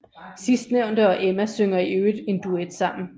Sidstnævnte og Emma synger i øvrigt en duet sammen